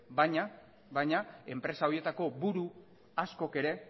baina enpresa horietako buru askok ere